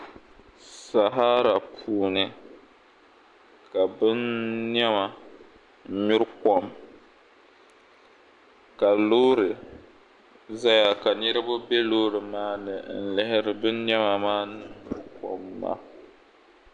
Sahara puuni ka binnɛma nyuri kom ka loori zaya ka niriba be loori maa ni n-lihiri binnɛma maa mini biŋkɔbiri maa